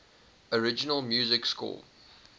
original music score